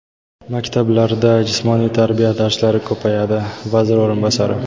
Maktablarda jismoniy tarbiya darslari ko‘payadi — vazir o‘rinbosari.